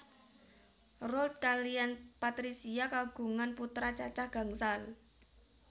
Roald kaliyan Patricia kagungan putra cacah gangsal